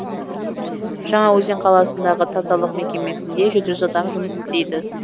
жаңаөзен қаласындағы тазалық мекемесінде жеті жүз адам жұмыс істейді